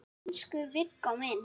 Elsku Viggó minn.